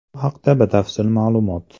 Bu haqda batafsil ma’lumot .